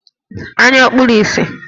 Anya ọ̀ kpuru ìsì?